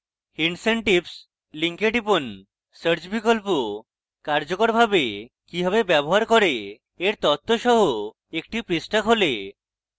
hints and tips link টিপুন search বিকল্প কার্যকরভাবে কিভাবে ব্যবহার করে এর তথ্য সহ একটি পৃষ্ঠা খোলে